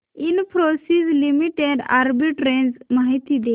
Infosys limited arbitrage माहिती दे